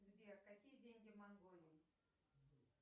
сбер какие деньги в монголии